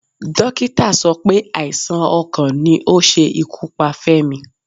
Dókítà sọ pé àìsàn ọkàn ni ó ṣe ikú pa Femi.